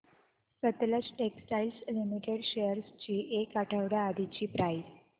Sutlej textiles limited shares ची एक आठवड्या आधीची प्राइस